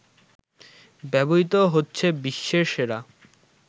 ব্যবহৃত হচ্ছে বিশ্বের সেরা